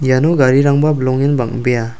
iano garirangba bilongen bang·bea.